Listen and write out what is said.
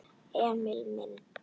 Emil minn.